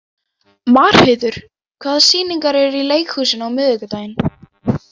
Marheiður, hvaða sýningar eru í leikhúsinu á miðvikudaginn?